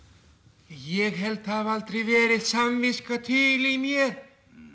ég held það hafi aldrei verið samviska til í mér